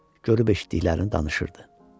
Hacı da görüb eşitdiklərini danışırdı.